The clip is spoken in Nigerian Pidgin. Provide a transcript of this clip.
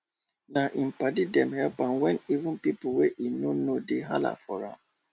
na im padi dem help am wen even pipo wey im nor know dey hala for am